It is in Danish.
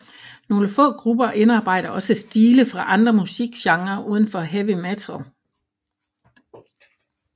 Nogle få grupper indarbejder også stile fra andre musikgenrer udenfor heavy metal